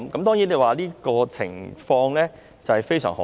當然，這個情況非常罕見。